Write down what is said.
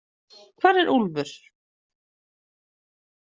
Hvar er Úlfur?